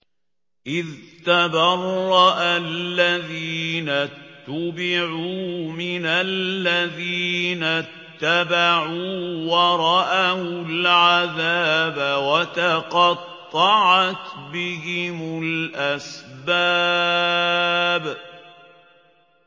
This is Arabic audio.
إِذْ تَبَرَّأَ الَّذِينَ اتُّبِعُوا مِنَ الَّذِينَ اتَّبَعُوا وَرَأَوُا الْعَذَابَ وَتَقَطَّعَتْ بِهِمُ الْأَسْبَابُ